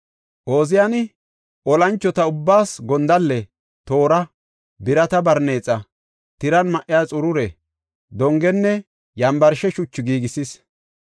Ooziyani olanchota ubbaas gondalle, toora, birata barneexa, tiran ma7iya xurure, dongenne yambarsha shuchu giigisis.